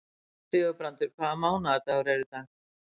Sigurbrandur, hvaða mánaðardagur er í dag?